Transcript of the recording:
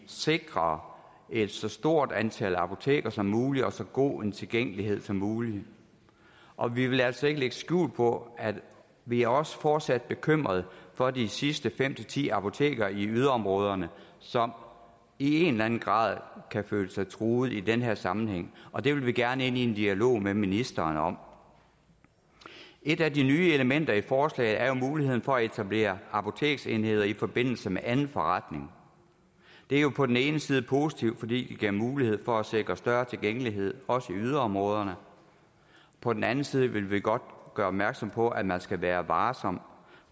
sikrer et så stort antal apoteker som muligt og så god en tilgængelighed som muligt og vi vil altså ikke lægge skjul på at vi også fortsat er bekymret for de sidste fem ti apoteker i yderområderne som i en eller anden grad kan føle sig truet i den her sammenhæng og det vil vi gerne ind i en dialog med ministeren om et af de nye elementer i forslaget er jo muligheden for at etablere apoteksenheder i forbindelse med anden forretning det er jo på den ene side positivt fordi det giver mulighed for at sikre større tilgængelighed også i yderområderne på den anden side vil vi godt gøre opmærksom på at man skal være varsom